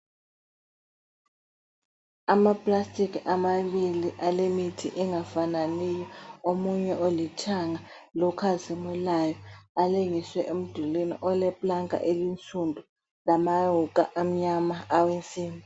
Amaplastic amabili alemithi engafananiyo. Omunye ulithanga lokhazimulayo, alengiswe emdulwini oleplanka elinsundu lama wuka amnyama awensimbi.